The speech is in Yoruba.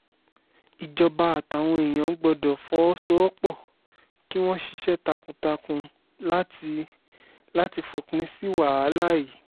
ìjọba àtàwọn èèyàn gbọ́dọ̀ fọwọ́sowọ́pọ̀ kí wọ́n ṣiṣẹ́ takuntakun láti láti fòpin sí wàhálà yìí